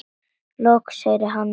Loks heyrði hann Millu og